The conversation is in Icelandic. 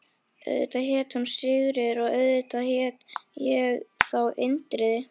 Auðvitað hét hún Sigríður og auðvitað hét ég þá Indriði.